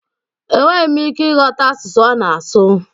Enweghị m ike ịghọta asụsụ ọ na-asụ